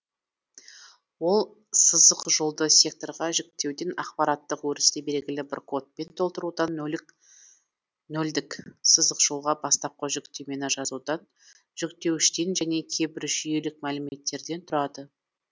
ол сызықжолды секторға жіктеуден ақпараттық өрісті белгілі бір кодпен толтырудан нөлдік сызықжолға бастапқы жүктемені жазудан жүктеуіштен және кейбір жүйелік мәліметтерден тұрады